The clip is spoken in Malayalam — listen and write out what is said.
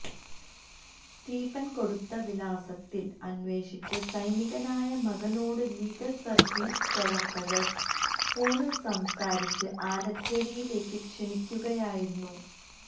സ്റ്റീഫൻ കൊടുത്ത വിലാസത്തിൽ അന്വേഷിച്ച് സൈനികനായ മകനോട് ലീഗൽ സർവീസസ് പ്രവർത്തകർ ഫോണിൽ സംസാരിച്ച് ആലച്ചേരിയിലേക്ക് ക്ഷണിക്കുകയായിരുന്നു